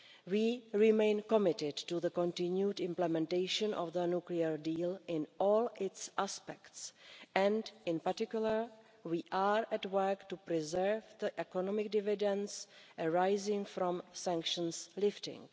We remain committed to the continued implementation of the nuclear deal in all its aspects and in particular we are at work to preserve the economic dividends arising from sanctions lifting.